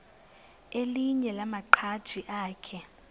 elinye lamaqhaji akhe